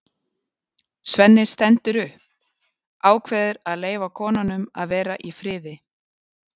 Svenni stendur upp, ákveður að leyfa konunum að vera í friði.